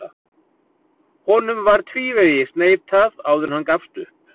Honum var tvívegis neitað áður en hann gafst upp.